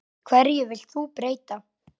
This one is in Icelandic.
Hverju vilt þú breyta?